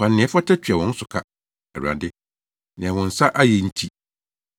Fa nea ɛfata tua wɔn so ka, Awurade, nea wɔn nsa ayɛ nti.